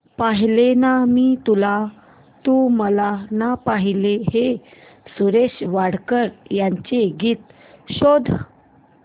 पाहिले ना मी तुला तू मला ना पाहिले हे सुरेश वाडकर यांचे गीत शोध